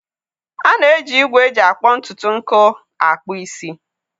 A na-eji igwe eji akpọ ntutu nkụ akpụ isi.